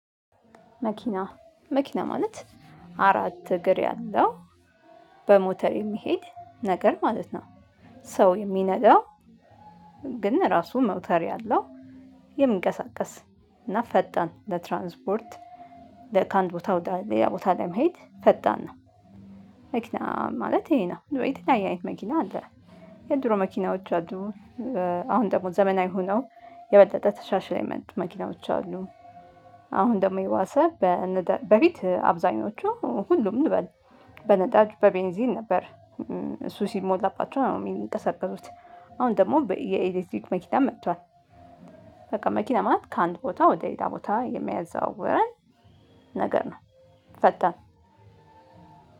መኪና መኪና ማለት አራት እግር ያለው በሞተር የሚሄድ ነገር ማለት ነው። ሰው የሚነዳው ግን ራሱ መውተር ያለው የሚንቀሳቀስ እና ፈጣን ለትራንስፖርት ከአንድ ቦታ ወደ ሌላ ቦታ ለመሄድ ፈጣን ነው። ማለት ይሄ ነ። የተለያየ አይነት መኪና አለ። የድሮ መኪናዎች አሉ። አሁን ደግሞ ዘመናዊ ሆነው የበለጠ ተሻሽሎ የመጡ መኪናዎች አሉ። አሁን ደግሞ የባሰ በነዳ በፊት አብዛኞቹ ሁሉም እንበል በነዳጅ፣ በቤንዚን ነበር። እሱ ሲሞላባቸው ነው የሚንቀሳቀሱት። አሁን ደግሞ የኤሌትሪክ መኪና መጥቷል። በቃ መኪና ማለት ከአንድ ቦታ ወደ ሌላ ቦታ የሚያዘዋውረን ነገር ነው። ፈጠን